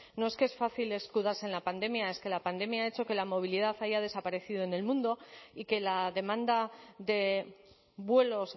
no es que es fácil escudarse en la pandemia es que la pandemia ha hecho que la movilidad haya desaparecido en el mundo y que la demanda de vuelos